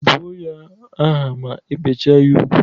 Bụọ ya aha ma ebecha ya ugwu!